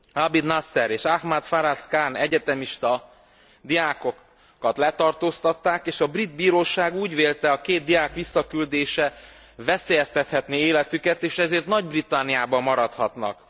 Abid Nasser és Ahmad Faraz Khan egyetemista diákokat letartóztatták, és a brit bíróság úgy vélte, a két diák visszaküldése veszélyeztethetné életüket és ezért Nagy Britanniában maradhatnak.